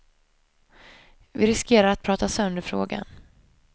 Vi riskerar att prata sönder frågan.